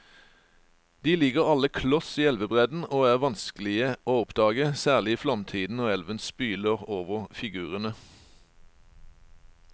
De ligger alle kloss i elvebredden og er vanskelige å oppdage, særlig i flomtiden når elven spyler over figurene.